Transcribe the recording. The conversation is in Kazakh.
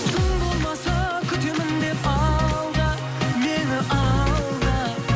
тым болмаса күтемін деп алда мені алда